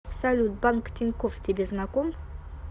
салют банк тинькофф тебе знаком